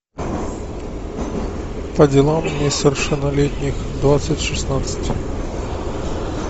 по делам несовершеннолетних двадцать шестнадцать